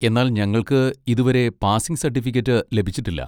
എന്നാൽ ഞങ്ങൾക്ക് ഇതുവരെ പാസിംഗ് സർട്ടിഫിക്കറ്റ് ലഭിച്ചിട്ടില്ല.